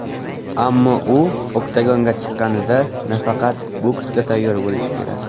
Ammo u oktagonga chiqqanida, nafaqat boksga tayyor bo‘lishi kerak.